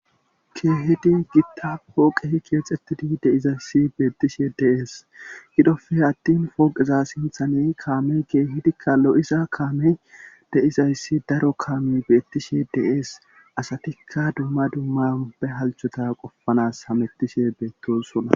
keehidi gida poqehi keexxettidi deizayssi beettishe deees gidofe attin pooqeza sinthane kaamey keehidikka lo7isa kaame deizayssi daro kaame beettishe deees asatikka dumma dumma ubbe halchota qofanas hamettishe beettosona